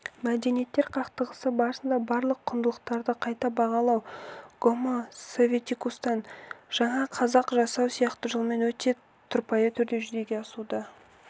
мәдениеттер қақтығысы барысындағы барлық құндылықтарды қайта бағалау гомо советикустан жаңа қазақ жасау сияқты жолмен өте тұрпайы түрде жүзеге асуда